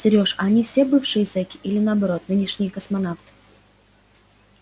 серёж а они все бывшие зеки или наоборот нынешние космонавты